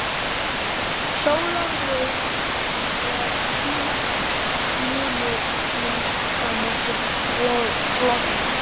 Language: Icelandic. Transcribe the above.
Sólarljóð, er sýnast munu minnst að mörgu login.